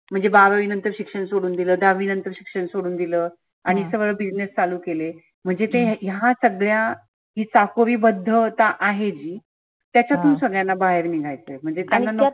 म्हनजे बारावी नंतर शिक्षण सोडून दिलं दहावी नंतर शिक्षन सोडून दिलं. आणि सरळ business चालू केले. म्हणजे ते ह्या सगळ्या चाकोरी बद्धता आहे जी त्याच्यातून सगळ्यांना बाहेर निघायचय. म्हणजे त्याना नको